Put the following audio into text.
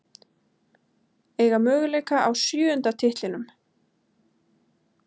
Eiga möguleika á sjöunda titlinum